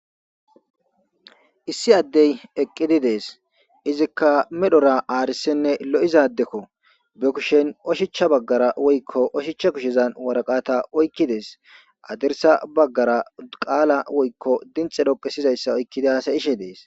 issi addey eqqidi dees izikka medhora aarisenne lo7iza addekko be kushen oshichcha baggara woykko oshichcha kushezan waraqata oykkidees adersa baggara qaala woykko dinxe dhoqesizayssa oykkidas ishe dees